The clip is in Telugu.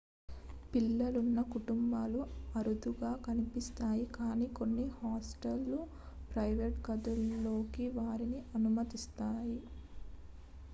పిల్లలున్న కుటుంబాలు అరుదుగా కనిపిస్తాయి కానీ కొన్ని హాస్టళ్లు ప్రైవేట్ గదుల్లోకి వారిని అనుమతిస్తాయి